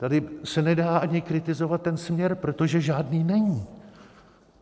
Tady se nedá ani kritizovat ten směr, protože žádný není.